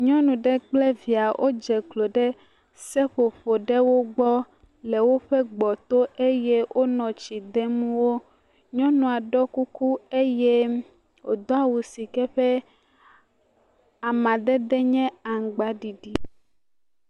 nyɔnu ɖe kple via wó dze klo ɖe seƒoƒo ɖewo gbɔ le wóƒe gbɔto eye wónɔ tsi dem o nyɔnuɔ ɖó kuku eye wò dó awu si ƒe amadede nye aŋgbaɖiɖi